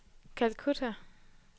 Calcutta